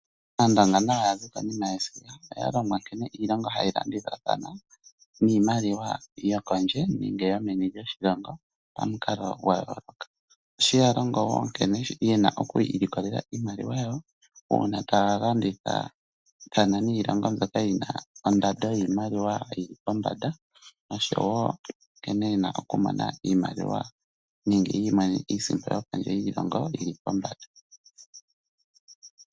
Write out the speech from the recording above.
Aandonga nayo yazi konima yesiga oyalongwa nkene iilongo hayi landithathana niimaliwa yokondje nenge yomeni lyoshilongo pamukalo gwayooloka. Osheya longo wo nkene yena oku ilikolela iimaliwa yawo, uuna taya landithathana niilongo mbyoka yina ondando yiimaliwa yili pombanda. Nosho wo nkene yena okumona iimaliwa nenge yi imonene iisimpo yokondje yiilongo yili pombanda.